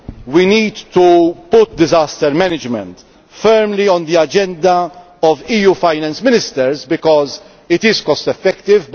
We need to put disaster management firmly on the agenda of EU finance ministers because it is cost effective.